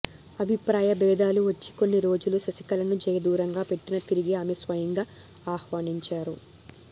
అభిప్రాయ భేదాలు వచ్చి కొన్ని రోజులు శశికళను జయ దూరంగా పెట్టినా తిరిగి ఆమే స్వయంగా ఆహ్వానించారు